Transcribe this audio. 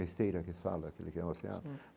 Esteira que fala, aquele que é.